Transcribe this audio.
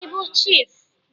Ị bụ chiịfụ?